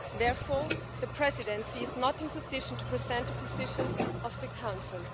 Therefore, the Presidency is not in a position to present a position of the Council.